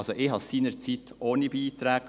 Also, ich machte es seinerzeit ohne Beiträge.